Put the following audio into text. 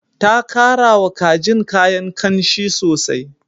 Ta karawa kajin kayan ƙanshi sosai.